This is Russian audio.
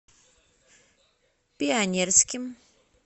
пионерским